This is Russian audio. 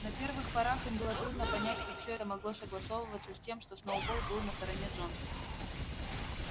на первых порах им было трудно понять как всё это могло согласовываться с тем что сноуболл был на стороне джонса